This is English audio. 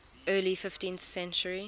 early fifteenth century